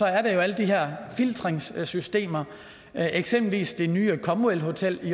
alle de her filtreringssystemer eksempelvis er det nye comwell hotel i